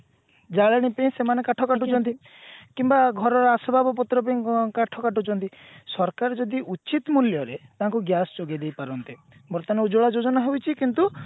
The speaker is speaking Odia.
ଜାଳେଣୀ ପାଇଁ ସେମାନେ କାଠ କାଟୁଛନ୍ତି କିମ୍ବା ଘରର ଆସବାବପତ୍ର ପେଇଁ କାଠ କାଟୁଛନ୍ତି ସରକାର ଯଦି ଉଚିତ ମୂଲ୍ଯରେ ତାଙ୍କୁ gas ଯୋଗେଇଦେଇ ପାରନ୍ତେ ବର୍ତମାନ ଉଜ୍ଜ୍ଵଳା ଯୋଜନା ହେଇଛି କିନ୍ତୁ